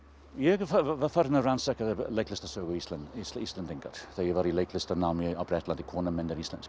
ég var farinn að rannsaka leiklistarsögu Íslendinga þegar ég var í leiklistarnámi á Bretlandi konan mín er íslensk